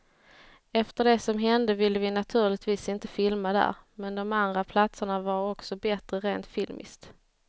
Efter det som hände ville vi naturligtvis inte filma där, men de andra platserna var också bättre rent filmiskt.